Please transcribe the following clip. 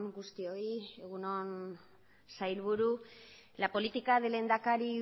guztioi egun on sailburu la política del lehendakari